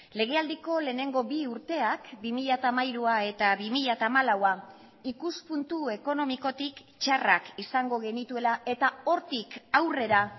legealdiko lehenengo bi urteak bi mila hamairua eta bi mila hamalaua ikuspuntu ekonomikotik txarrak izango genituela eta hortik aurrera